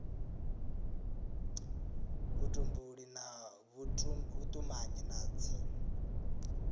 vhutumbuli na vhutumanyi na dzi